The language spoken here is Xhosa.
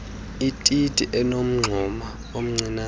ititi enomngxuma omncianen